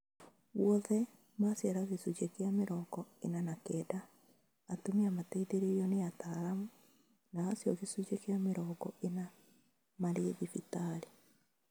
Guothe, maciara gĩcunjĩ kĩa mĩrongo ĩnana na kenda, atumia mateithĩrĩirio nĩ ataaramu na-acio gĩcunjĩ kĩa mĩrongo ĩnana maarĩ thibitarĩ